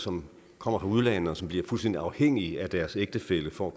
som kommer fra udlandet og som bliver fuldstændig afhængige af deres ægtefælle for